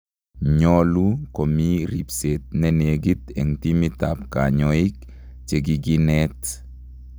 Nyolu komii ribseet nenekit eng' timit ab kanyoik chekikineet